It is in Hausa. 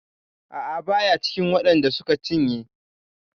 A'a baya cikin waɗan da suka cinye.